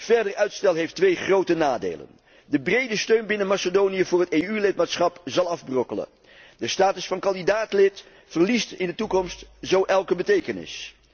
Verder uitstel heeft twee grote nadelen de brede steun binnen Macedonië voor het EU lidmaatschap zal afbrokkelen, de status van kandidaat lid verliest in de toekomst zo elke betekenis.